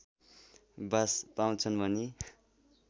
बास पाउँछन् भनी